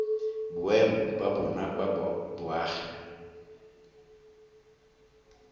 boemo ba bona ba boagi